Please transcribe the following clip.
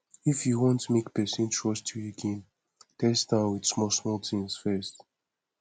if you want make person trust you again test am with small small things first